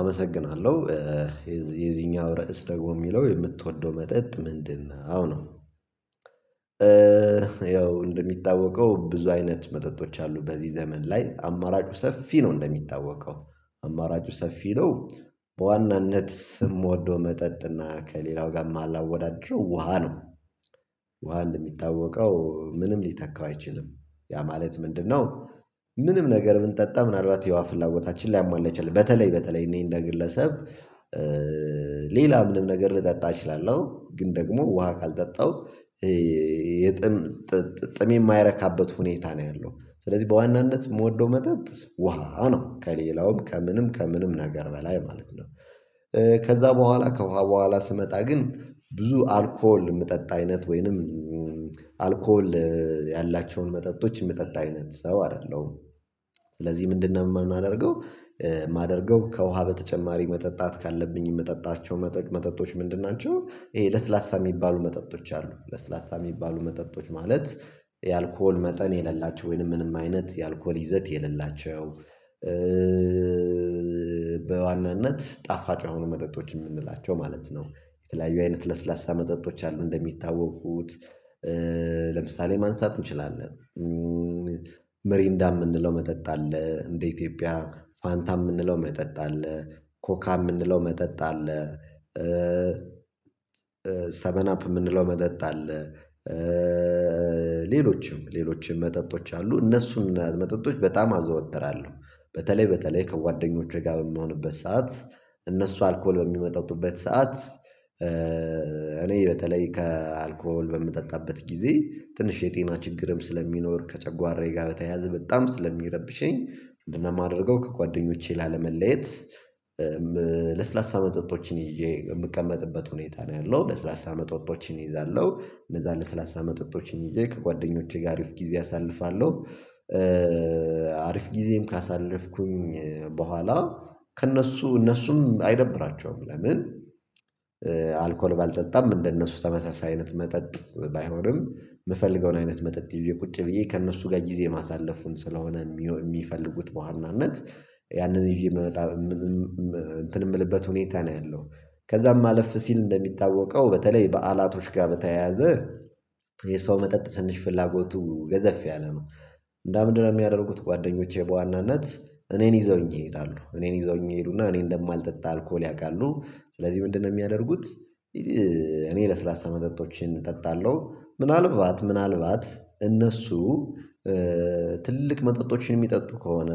አመሰግናለሁ የዚህኛው ራዕስ ደግሞ የሚለው የምትወደው መጠጥ ምንድነው? ያው እንደሚታወቀው ብዙ አይነት መጠጦች አሉ በዚህ ዘመን ላይ አማራጩ ሰፊ ነው እንደሚታወቀው አማራጩ ሰፊ ነው። በዋናነት እምወዶው መጠጥና ከሌላው ጋር ማላወዳደረው ውሃ ነው። ውሃ እንደሚታወቀው ምንም ሊተካው አይችልም ያ ማለት ምንድነው? ምንም ነገር ምን ብንጠጣ ምናልባት የዉሀ ፍላጎታችን ላይ ላያሟላ ይችለሁ በተለይ በተለይ እኔ እንደ ግለሰብ። ሌላ ምንም ነገር ልጠጣ እችላለሁ ግን ደግሞ ውሃ ካልጠጣው የጥም ጥም የማይረካበት ሁኔታ ነው ያለው ስለዚህ በዋናነት የምወደው መጠጥ ውሃ ነው ከሌላውም ከምንም ከምንም ነገር በላይ ማለት ነው። ከዛ በኋላ ከውሃ በኋላ ስመጣ ግን ብዙ አልኮል የምጠጣ አይነት ወይንም አልኮል ያላቸውን መጠጦች የምጠጣ አይነት ሰው አይደለሁም። ስለዚህ ምንድነው የምናደርገው የማደርገው ከውሃ በተጨማሪ መጠጣት ካለብኝ መጠጣቸው መጠጥ መጠጥቶች ምንድን ናቸው? ይሄ ለስላሳ የሚባሉ መጠጦች አሉ ለስላሳ የሚባሉ መጠጦች ማለት የአልኮል መጠን የሌላቸው ወይንም ምንም አይነት የአልኮል ይዘት የሌላቸው። በዋናነት ጣፋጭ የሆን መጠጦች የምንላቸው ማለት ነው። የተለያዩ አይነት ለስላሳ መጠጦች አሉ እንደሚታወቁት ለምሳሌ ማንሳት እንችላለን። ሜሪንዳ የምንለው መጠጥ አለ። እንደ ኢትዮጵያ ፋንታ የምንለው መጠጥ አለ። ኮካ የምንለው መጠጥ አለ። ሰበንአፕ የምንለው መጠጥ አለ። ሌሎችም ሌሎችም መጠጦች አሉ እነሱን መጠጦች በጣም አዘወተራለሁ። በተለይ በተለይ ከጓደኞቼ ጋር በምሆንበት ሰዓት እነሱ አልኮል በሚጠጡበት ሰዓት እኔ በተለይ ከአልኮል በምጠጣበት ጊዜ ትንሽ የጤና ችግርም ስለሚኖር ከጨጓራዬ ጋር በተያያዘ በጣም ስለሚረብሸኝ። ምንድነ ማድረገው ከጓደኞቼ ላለመለየት? ለስላሳ መጠጦችን ይዤ የምቀመጥበት ሁኔታ ነው ያለው ለስላሳ መጠጦችን ይዛለሁ እነዛን ለስላሳ መጠጦችን ይዤ ከጓደኞቼ ጋር አሪፍ ጊዜ አሳልፋለሁ። አሪፍ ጊዜም ካሳለፍኩኝ በኋላ ከእነሱ እነሱም አይደብራቸውም ለምን? አልኮል ባልጠጣም እንደነሱ ተመሳሳይ አይነት መጠጥ ባይሆንም የምፈልገውን አይነት መጠጥ ይውዤ ቁጭ ብዬ ከእነሱ ጋር ጊዜ ማሳለፉን ስለሆነ። የሚፈልጉት በዋናነት ያንን ይዤ የምመጣ እንትን የምልበት ሁኔታ ነው ያለው። ከዛም አለፍ ሲል እንደሚታወቀው በተለይ በዓላቶች ጋር በተያያዘ የሰው መጠጥ ስንሽ ፍላጎቱ ገዘፍ ያለ ነው። እንደው ምንድነው የሚያደርጉት ጓደኞቼ በዋናነት እኔን ይዘውኝ ይሄዳሉ እኔን ይዘውኝ ይሄዱና እኔ እንደማልጠጣ አልኮል ያውቃሉ። ስለዚህ ምንድነው የሚያደርጉት? እኔ ለስላሳ መጠጦችን እጠጣለሁ ምናልባት ምናልባት እነሱ ትልቅ መጠጦችን የሚጠጡ ከሆነ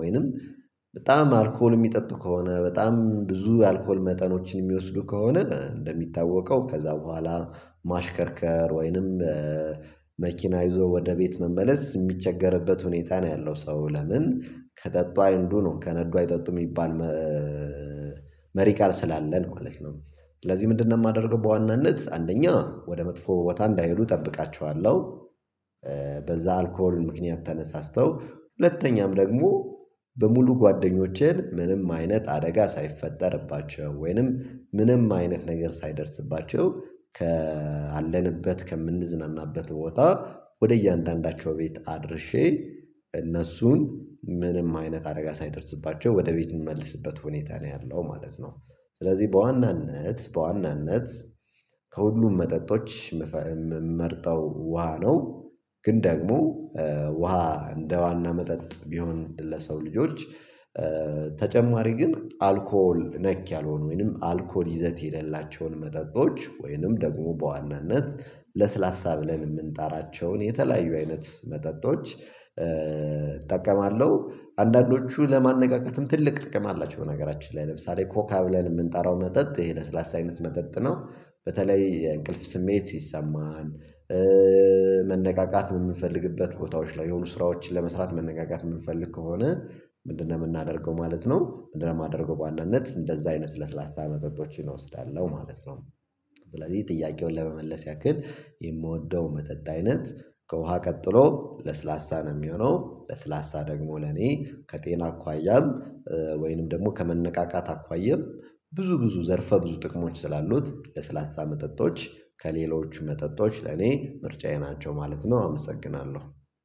ወይንም በጣም አልኮል የሚጠጡ ከሆነ በጣም ብዙ የአልኮል መጠኖችን የሚወስዱ ከሆነ እንደሚታወቀው ከዛ በኋላ ማሽከርከር ወይንም መኪና ይዞ ወደ ቤት መመለስ የሚቸገርበት ሁኔታ ነው ያለው ሰው ለምን ከጠጡ አይንዱ ነው ከነዱ አይጠጡም የሚባል መሪ ቃል ስላለን ማለት ነው። ስለዚህ ምንድነው የማደርገው በዋናነት አንደኛ ወደ መጥፎ ቦታ እንዳይሄዱ እጠብቃችኋለሁ። አልኮል ምክንያት ተነሳስተው ሁለተኛም ደግሞ በሙሉ ጓደኞቼን ምንም አይነት አደጋ ሳይፈጠርባቸው ወይንም ምንም አይነት ነገር ሳይደርስባቸው ከአለንበት ከምንዝናናበት ቦታ ወደ እያንዳንዳቸው ቤት አድርሼ እነሱን ምንም አይነት አደጋ ሳይደርስባቸው ወደ ቤት እምመልስበት ሁኔታ ነው ያለው ማለት ነው። ስለዚህ በዋናነት በዋናነት ከሁሉም መጠጦች የምመርጠው ውሃ ነው። ግን ደግሞ ውሃ እንደ ዋና መጠጥ ቢሆን ለሰው ልጆች ተጨማሪ ግን አልኮል ነክ ያልሆነ ወይንም አልኮል ይዘት የሌላቸውን መጠጦች ወይንም ደግሞ በዋናነት ለስላሳ ብለን የምንጣራቸውን የተለያዩ አይነት መጠጦች እጠቀማለሁ። አንዳንዶቹ ለማነቃቃትም ትልቅ ጥቅም አላቸው በነገራችን ላይ ለምሳሌ ኮካ ብለን የምንጠራው መጠጥ ይሄ ለስላሳ አይነት መጠጥ ነው። በተለይ የእንቅልፍ ስሜት ሲሰማን መነቃቃት የምንፈልግበት ቦታዎች ላይ የሆኑ ስራዎችን ለመስራት መነቃቃት የምንፈልግ ከሆነ ምንድነው የምናደርገው ማለት ነው። ምንድነው እማደርገው በዋናነት እንደዛ አይነት ለስላሳ መጠጦችን እወስዳለሁ ማለት ነው። ስለዚህ ጥያቄውን ለመመለስ ያክል የምወደው መጠጥ አይነት ከውሃ ቀጥሎ ለስላሳ ነው የሚሆነው ለስላሳ ደግሞ ለኔ ከጤና አኳያም ወይንም ደግሞ ከመነቃቃት አኳየም ብዙ ብዙ ዘርፈ ብዙ ጥቅሞች ስላሉት ለስላሳ መጠጦች ከሌሎች መጠጦች ለኔ ምርጫዬ ናቸው ማለት ነው። አመሰግናለሁ